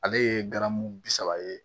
Ale ye garamu bi saba ye